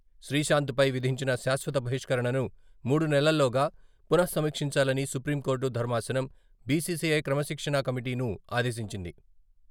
శ్రీశాంత్పై విధించిన శాశ్వత బహిష్కరణను మూడు నెలల్లోగా పునఃసమీక్షించాలని సుప్రీంకోర్టు ధర్మాసనం బిసిసిఐ క్రమశిక్షణా కమిటీను ఆదేశించింది.